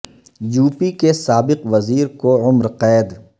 you P کے سابق وزیر کو عمر قید